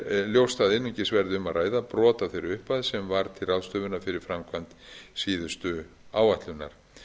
ljóst að einungis verði um að ræða brot af þeirri upphæð sem var til ráðstöfunar fyrir framkvæmd síðustu áætlunar